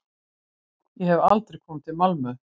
Ég hef aldrei komið til Malmö.